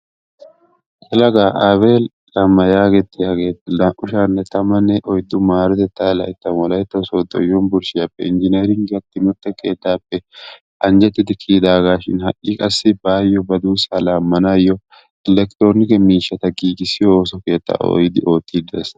Yelaga Abel Lemma yaagettiyagee naa"u sha'anne tammanne oyddu maarotettaa layttan wolaytta sooddo unbbershshiyappe injjineeringgiya timmirtte keettaappe anjjettidi kiyidaagaa shining qassi baayo ba duussaa laamanaayo electronikke miishshaa giiggissiyo ooso keettaa doyidi uttidi de'ees.